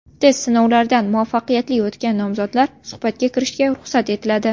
Test sinovlaridan muvaffaqiyatli o‘tgan nomzodlar suhbatga kirishiga ruxsat etiladi.